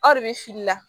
Aw de bɛ fili la